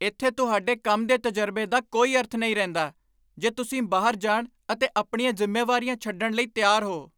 ਇੱਥੇ ਤੁਹਾਡੇ ਕੰਮ ਦੇ ਤਜਰਬੇ ਦਾ ਕੋਈ ਅਰਥ ਨਹੀਂ ਰਹਿੰਦਾ ਜੇ ਤੁਸੀਂ ਬਾਹਰ ਜਾਣ ਅਤੇ ਆਪਣੀਆਂ ਜ਼ਿੰਮੇਵਾਰੀਆਂ ਛੱਡਣ ਲਈ ਤਿਆਰ ਹੋ।